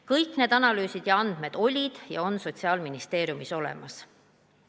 Kõik need analüüsid ja andmed olid ja on Sotsiaalministeeriumis olemas.